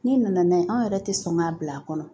N'i nana n'a ye anw yɛrɛ tɛ sɔn k'a bila a kɔnɔ